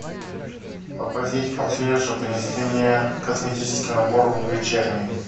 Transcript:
попросите консьержа принести мне косметический набор вечерний